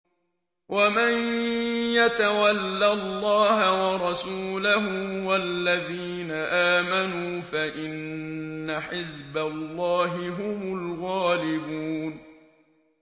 وَمَن يَتَوَلَّ اللَّهَ وَرَسُولَهُ وَالَّذِينَ آمَنُوا فَإِنَّ حِزْبَ اللَّهِ هُمُ الْغَالِبُونَ